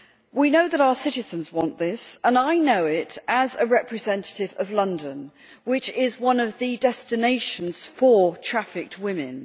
We know that our citizens want this, and I know it as a representative of London, which is one of the destinations for trafficked women.